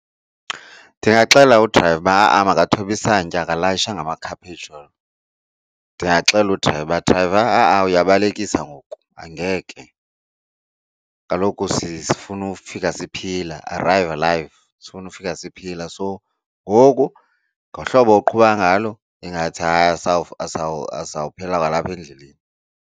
Ndingaxelela udrayiva uba makathobe isantya akalayishanga makhaphetshu, ndingaxelela udrayiva uba, drayiva ha-a uyabalekisa ngoku angeke kaloku sifuna ufika siphila arrive alive. Sifuna ukufika siphila so ngoku ngohlobo oqhuba ngalo ingathi sawuphela kwalapha endleleni.